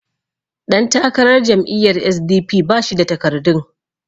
ɗantakarar jam'iyyar s.d.p ba shi da takardun